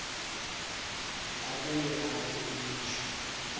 abuye akhe imisho